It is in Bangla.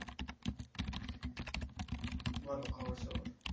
বলো খবর সবার?